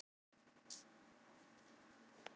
Hann gat ekki haft